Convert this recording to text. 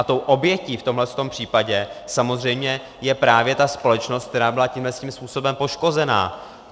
A tou obětí v tomto případě samozřejmě je právě ta společnost, která byla tímhle způsobem poškozena.